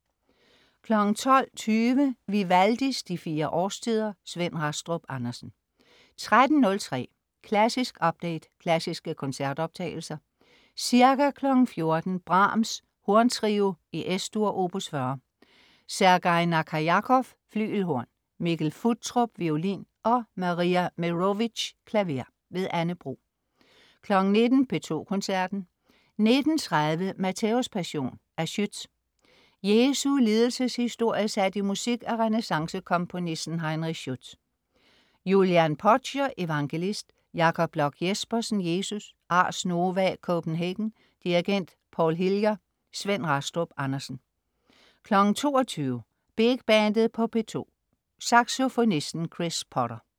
12.20 Vivaldis De fire Årstider. Svend Rastrup Andersen 13.03 Klassisk update. Klassiske koncertoptagelser. Ca. 14.00 Brahms: Horntrio, Es-dur, opus 40. Sergej Nakarjakov, flygelhorn, Mikkel Futtrup, violin, og Maria Meerovich, klaver. Anne Bro 19.00 P2 Koncerten. 19.30 Matthæuspassion af Schütz. Jesu lidelseshistorie sat i musik af renæssancekomponisten Heinrich Schütz. Julian Podger, evangelist. Jakob Bloch Jespersen, Jesus. Ars Nova Copenhagen. Dirigent: Paul Hillier. Svend Rastrup Andersen 22.00 DR Big Bandet på P2. Saxofonisten Chris Potter